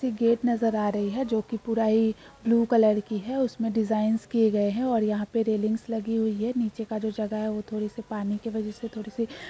एक गेट नजर आ रही है जो कि पूरा ही ब्लू कलर की है। उसमे डिजाइन्स किये गए हैं और यहाँ पे रेलिंग लगी हुई है। नीचे का जो जगह है वो थोड़े से पानी की वजह से थोडा सी --